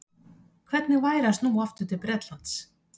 Hvernig var að snúa aftur til Bretlands?